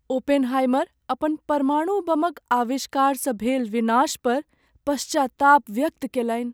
Oppenheimer अपन परमाणु बमक आविष्कारसँ भेल विनाश पर पश्चाताप व्यक्त कयलनि।